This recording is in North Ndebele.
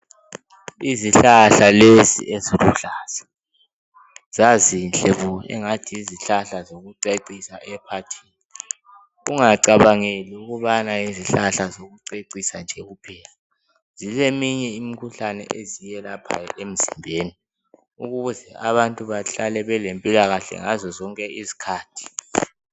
Izihlahla lezi eziluhlaza. Zazinhle bo, engani yizihlahla zokucecisa ephathini. Ungacabangeli ukubana yizihlahla zokucecisa nje kuphela. Zileminye imikhuhlane eziyelaphayo emzimbeni ukuze abantu bahlale belempilakahle ngazo zonke isikhathi.